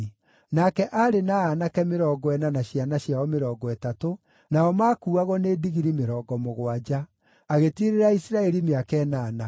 Nake aarĩ na aanake mĩrongo ĩna na ciana ciao mĩrongo ĩtatũ, nao maakuuagwo nĩ ndigiri mĩrongo mũgwanja. Agĩtiirĩrĩra Isiraeli mĩaka ĩnana.